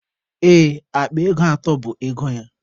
Ee, akpa ego atọ bụ ego ya.